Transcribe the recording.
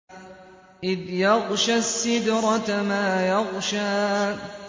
إِذْ يَغْشَى السِّدْرَةَ مَا يَغْشَىٰ